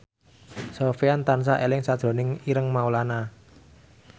Sofyan tansah eling sakjroning Ireng Maulana